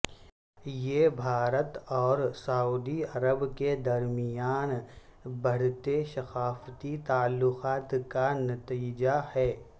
یہ بھارت اور سعودی عرب کے درمیان بڑھتے ثقافتی تعلقات کا نتیجہ ہے